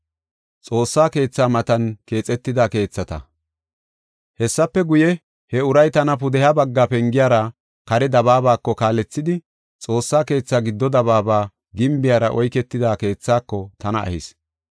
Hessafe guye, he uray tana pudeha bagga pengiyara kare dabaabako kaalethidi Xoossa keethaa giddo dabaaba gimbiyara oyketida keethaako tana ehis.